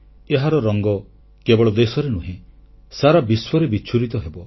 ଏହାର ରଙ୍ଗ କେବଳ ଦେଶରେ ନୁହେଁ ସାରା ବିଶ୍ୱରେ ବିଚ୍ଛୁରିତ ହେବ